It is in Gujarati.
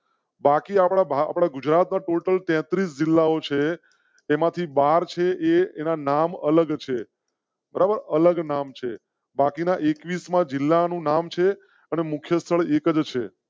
બાકી આપડા ગુજરાત ના ટોટલ ટેટ્રિસ જિલ્લાઓ છે તેમાંથી બહાર છે. એના નામ અલગ છે. અલગ નામ સે બાકીના એકવીસ માં જિલ્લા નું નામ છે અને મુખ્ય સ્થળ એક જ છે